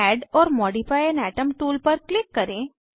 add or modify an atom tool पर click करें